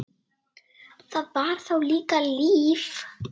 Það var þá líka líf!